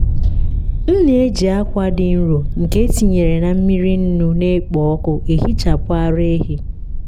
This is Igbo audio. m na-eji akwa dị nro nke etinyere na mmiri nnu na-ekpo ọkụ ehichapụ ara ehi.